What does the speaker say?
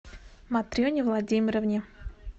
матрене владимировне